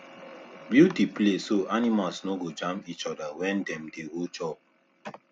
build the place so animals no go jam each other when dem dey go chop